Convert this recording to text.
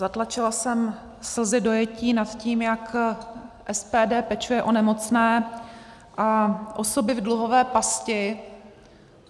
Zatlačila jsem slzy dojetí nad tím, jak SPD pečuje o nemocné a osoby v dluhové pasti.